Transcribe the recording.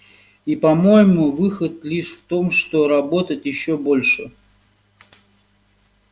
и по-моему выход лишь в том что работать ещё больше